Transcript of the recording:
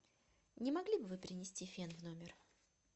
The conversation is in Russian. не могли бы вы принести фен в номер